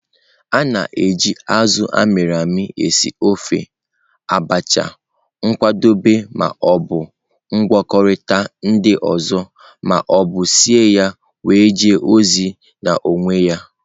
A na-eji azụ a mịrị amị esị ofe, Abacha, ịkwadebe ma o bụ ngwakọta ndị ọzọ ma ọ bụ sie ya wee jee ozi n'onwe ya.